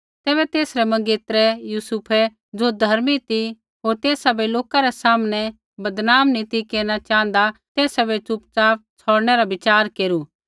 तैबै तेसरै मंगेतरै यूसुफै ज़ो धर्मी ती होर तेसा बै लोका रै सामनै बदनाम नी ती केरना च़ाँहदा तेसा बै च़ुपचाप छ़ौड़नै रा विच़ार केरू